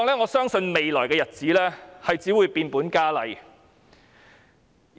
我相信在未來的日子，這種情況只會變本加厲。